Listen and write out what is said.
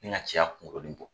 Ni ka cɛ ya bɔ